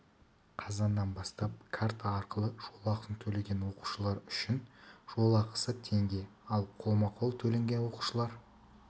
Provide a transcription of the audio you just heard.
қазаннан бастап карта арқылы жол ақысын төлеген оқушылар үшін жол ақысы теңге ал қолма-қол төлеген оқушылар